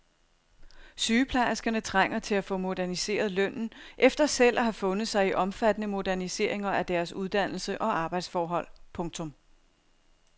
Sygeplejerskerne trænger til at få moderniseret lønnen efter selv at have fundet sig i omfattende moderniseringer af deres uddannelse og arbejdsforhold. punktum